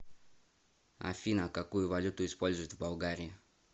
афина какую валюту используют в болгарии